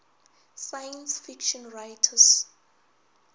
science fiction writers